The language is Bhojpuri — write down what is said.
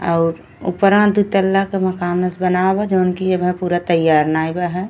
और उपरा दुतला का मकानस बनावा जोहन कि अबे पूरा तेयार नाय बा है।